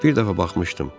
Bir dəfə baxmışdım.